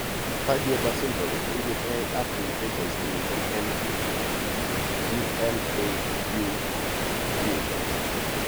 Sturge Weber syndrome koipuge ak mutations chemiten en e GNAQ gene.